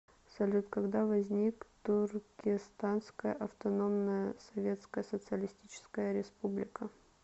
салют когда возник туркестанская автономная советская социалистическая республика